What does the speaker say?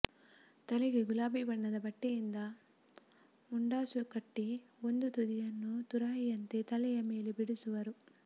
ತಲೆಗೆ ಗುಲಾಬಿ ಬಣ್ಣದ ಬಟ್ಟೆಯಿಂದ ಮುಂಡಾಸುಕಟ್ಟಿ ಒಂದು ತುದಿಯನ್ನು ತುರಾಯಿಯಂತೆ ತಲೆಯ ಮೇಲೆ ಬಿಡಿಸುವರು